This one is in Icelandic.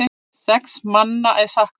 Sex manna er saknað.